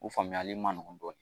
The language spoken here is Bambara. U faamuyali man nɔgɔn dɔɔnin